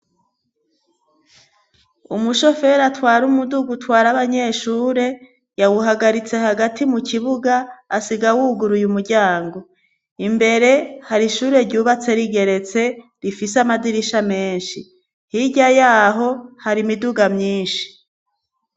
Umushofero atwari umudugu twari abanyeshure yawuhagaritse hagati mu kibuga asiga awuguruye umuryango imbere hari ishure ryubatse rigeretse rifise amadirisha menshi hirya yaho hari imiduga myinshi.